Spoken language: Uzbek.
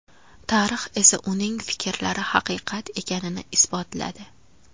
Tarix esa uning fikrlari haqiqat ekanini isbotladi.